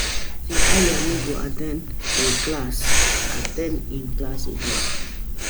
My lecturer say Ayo no go at ten d im class again